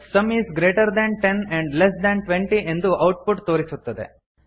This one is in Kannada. some is greater than ten and less than twenty ಎಂದು ಔಟ್ ಪುಟ್ ತೋರಿಸುತ್ತದೆ